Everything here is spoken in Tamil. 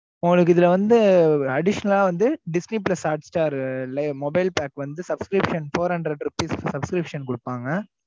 உங்களுக்கு இதுல வந்து additional ஆ வந்து disney plus hotstar ஓட subscription four hundred rupees subscription குடுப்பாங்க.